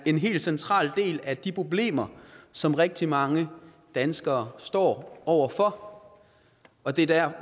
en helt central del af de problemer som rigtig mange danskere står over for og det er der